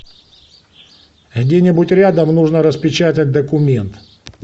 где нибудь рядом нужно распечатать документ